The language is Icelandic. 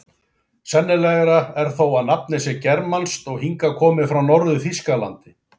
Sennilegra er þó að nafnið sé germanskt og hingað komið frá Norður-Þýskalandi.